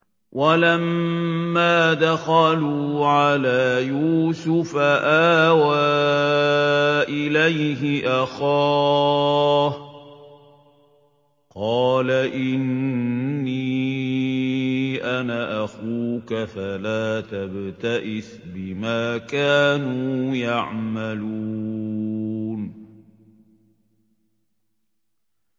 وَلَمَّا دَخَلُوا عَلَىٰ يُوسُفَ آوَىٰ إِلَيْهِ أَخَاهُ ۖ قَالَ إِنِّي أَنَا أَخُوكَ فَلَا تَبْتَئِسْ بِمَا كَانُوا يَعْمَلُونَ